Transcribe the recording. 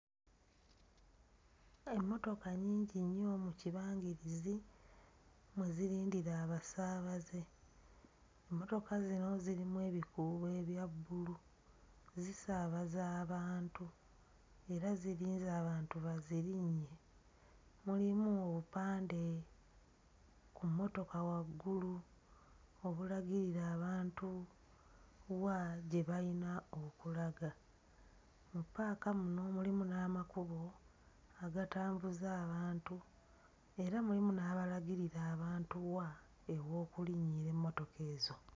Emmotoka nnyingi nnyo mu kibangirizi mwe zirindira abasaabaze. Emmotoka zino zirimu ebikuubo ebya bbulu, zisaabaza abantu era zirinze abantu bazirinnye, mulimu obupande ku mmotoka waggulu obulagirira abantu wa gye bayina okulaga. Mu ppaaka muno mulimu n'amakubo agatambuza abantu era mulimu n'abalagirira abantu wa ew'okulinnyira emmotoka ezo.